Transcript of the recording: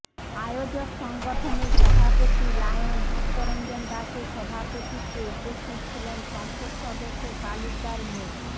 আয়োজক সংগঠনের সভাপতি লায়ন চিত্তরঞ্জন দাশের সভাপতিত্বে উপস্থিত ছিলেন সংসদ সদস্য তালুকদার মো